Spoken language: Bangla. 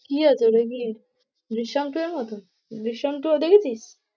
কি রে? তোদের কি মতো? ওটাই দিস?